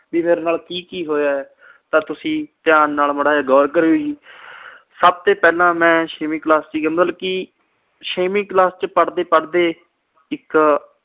ਵੀ ਮੇੇਰੇ ਨਾਲ ਕੀ-ਕੀ ਹੋਇਆ ਤਾਂ ਤੁਸੀਂ ਧਿਆਨ ਨਾਲ ਮਾੜਾ ਜਿਹਾ ਗੌਰ ਕਰੀਓ ਜੀ। ਸਭ ਤੋਂ ਪਹਿਲਾਂ ਮੈਂ ਛੇਵੀਂ class ਚ ਸੀ ਮਤਲਬ ਕਿ ਛੇਵੀਂ class ਚ ਪੜ੍ਹਦੇ-ਪੜ੍ਹਦੇ ਇੱਕ